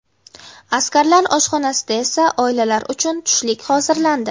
Askarlar oshxonasida esa oilalar uchun tushlik hozirlandi.